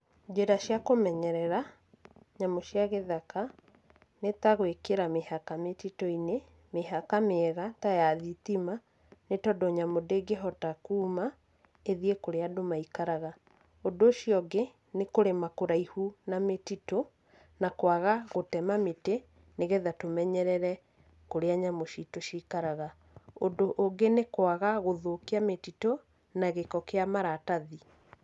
Njĩra cia kũmenyerera nyamũ cia gĩthaka, nĩ ta gwĩkĩra mĩhaka mĩtitũ-inĩ, mĩhaka mĩega, ta ya thitima, nĩ tondũ nyamũ ndĩngĩhota kuma, ĩthiĩ kũrĩa andũ maikaraga. ũndũ ũcio ũngĩ, nĩ kũrĩma kũraihu na mĩtitũ, na kwaga gũtema mĩtĩ, nĩgetha tũmenyerere, kũrĩa nyamũ citũ cikaraga. ũndũ ũngĩ nĩ kwaga gũthũkia mĩtitũ, na gĩko kĩa maratathi.